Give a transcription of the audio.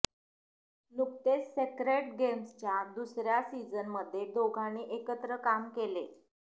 नुकतेच सेक्रेड गेम्सच्या दुसऱ्या सीझनमध्ये दोघांनी एकत्र काम केले